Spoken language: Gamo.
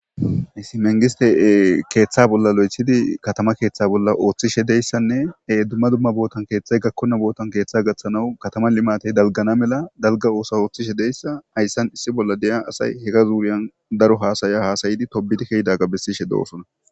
Hisi mengiste keeththa bolla lo'ethidi katama keeththa bolla ooththishe deyssanne e dumma dumma bootan keeththay gakkonna bootan keeththa gaththanawu katama limatey dalgana mela dalga oosa ooththishe deyssa ayssan issi bolla deya asay hega zuuriyan daro haasaya hasayidi tobidi keydaga bessishe doosona